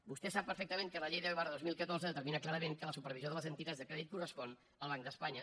vostè sap perfectament que la llei deu dos mil catorze determina clarament que la supervisió de les entitats de crèdit correspon al banc d’espanya